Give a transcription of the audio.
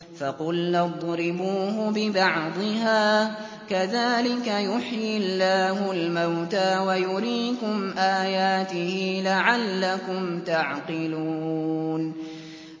فَقُلْنَا اضْرِبُوهُ بِبَعْضِهَا ۚ كَذَٰلِكَ يُحْيِي اللَّهُ الْمَوْتَىٰ وَيُرِيكُمْ آيَاتِهِ لَعَلَّكُمْ تَعْقِلُونَ